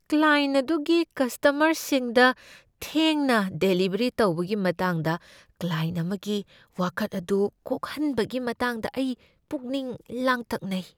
Client ꯑꯗꯨꯒꯤ ꯀꯁꯇꯃꯔꯁꯤꯡꯗ ꯊꯦꯡꯅ ꯗꯦꯂꯤꯚꯔꯤ ꯇꯧꯕꯒꯤ ꯃꯇꯥꯡꯗ ꯀ꯭ꯂꯥꯏꯌꯦꯟꯠ ꯑꯃꯒꯤ ꯋꯥꯀꯠ ꯑꯗꯨ ꯀꯣꯛꯍꯟꯕꯒꯤ ꯃꯇꯥꯡꯗ ꯑꯩ ꯄꯨꯛꯅꯤꯡ ꯂꯥꯡꯇꯛꯅꯩ ꯫